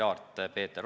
Austatud ettekandja!